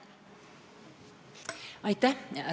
Aitäh!